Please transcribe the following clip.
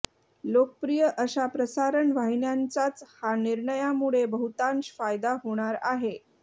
लोकप्रिय अशा प्रसारण वाहिन्यांचाच या निर्णयामुळे बहुतांश फायदा होणार आहे